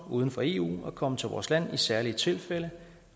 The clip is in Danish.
uden for eu at komme til vores land i særlige tilfælde